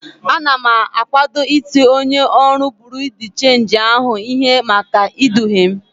Ana m akwado iti onye ọrụ buru de chenji ahụ ihe maka iduhie m.